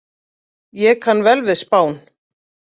Ég kann vel við Spán.